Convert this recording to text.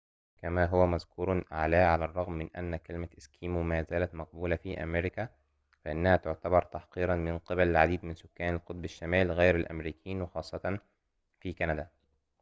كما هو مذكور أعلاه على الرغم من أن كلمة إسكيمو ما زالت مقبولة في أمريكا فإنها تعتبر تحقيراً من قِبل العديد من سكان القطب الشمالي غير الأمريكيين وخاصةً في كندا